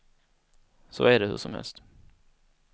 Så är det hur som helst.